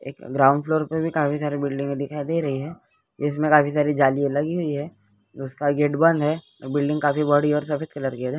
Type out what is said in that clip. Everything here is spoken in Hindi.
एक ग्राउंड फ्लोर पर भी काफी सारे बिल्डिंग में दिखाई दे रही है उसमें काफी सारी जाली लगी हुई है उसका गेट बंद है बिल्डिंग काफी बड़ी और सफेद कलर की है।